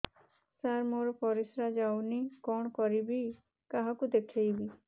ସାର ମୋର ପରିସ୍ରା ଯାଉନି କଣ କରିବି କାହାକୁ ଦେଖେଇବି